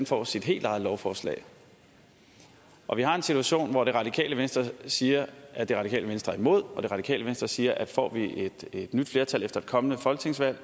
får sit helt eget lovforslag og vi har en situation hvor det radikale venstre siger at det radikale venstre er imod og det radikale venstre siger at får vi et nyt flertal efter et kommende folketingsvalg